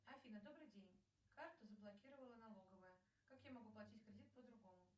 афина добрый день карту заблокировала налоговая как я могу платить кредит по другому